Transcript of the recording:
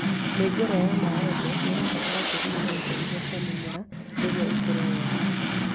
Mĩũngũrwa ya mĩembe ĩbataraga tĩĩri wĩna indo irio cia mĩmera nĩguo ĩkũre wega